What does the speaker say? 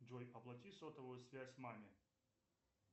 джой оплати сотовую связь маме